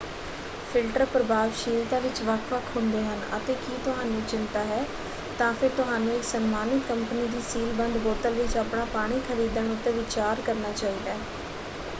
Filter ਪ੍ਰਭਾਵਸ਼ੀਲਤਾ ਵਿੱਚ ਵੱਖ-ਵੱਖ ਹੁੰਦੇ ਹਨ ਅਤੇ ਕੀ ਤੁਹਾਨੂੰ ਚਿੰਤਾ ਹੈ ਤਾਂ ਫਿਰ ਤੁਹਾਨੂੰ ਇਕ ਸਨਮਾਨਿਤ ਕੰਪਨੀ ਦੀ ਸੀਲ-ਬੰਦ ਬੋਤਲ ਵਿੱਚ ਆਪਣਾ ਪਾਣੀ ਖਰੀਦਣ ਉੱਤੇ ਵਿਚਾਰ ਕਰਨਾ ਚਾਹੀਦਾ ਹੈ।